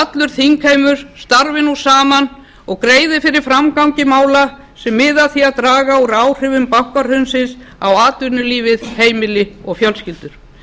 allur þingheimur starfi nú saman og greiði fyrir framgangi mála sem miða að því að draga úr áhrifum bankahrunsins á atvinnulífið heimili og fjölskyldur